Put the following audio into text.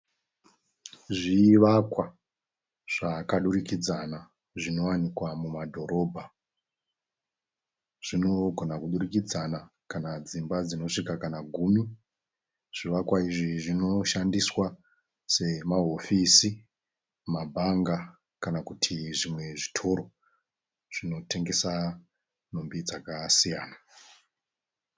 Zvivakwa zvakadurikidzana zvinovanikwa mumadhorobha. Zvigona kudurikidzana kana dzimba dzinosvika kana gumi. Zvivakwa izvi zvinoshandiswa semahofisi, mabhanga kana kuti zvimwe zvitoro zvinotengesa nhumbi dzakasiyana.